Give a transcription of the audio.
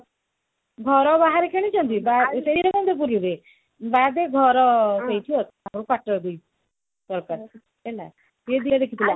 ଘର ବାହାରେ କିଣିଛନ୍ତି ଏଇ ବିରଗୋବିନ୍ଦ ପୁରୁରେ ବାଦେ ଘର ସେଇଠି ଆଉ ସେଇଦିନ ଦେଖି ଥିଲା